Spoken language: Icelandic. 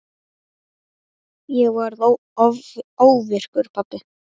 Ég varð óvirkur pabbi.